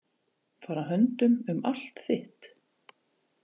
Fara höndum um allt þitt.